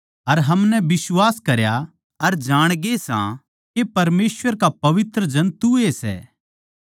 अर हमनै बिश्वास करया अर जाणगे सै के परमेसवर का पवित्र जन तूए सै